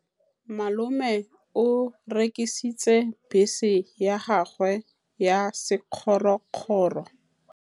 Malome o rekisitse bese ya gagwe ya sekgorokgoro.